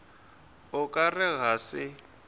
o ka re ga se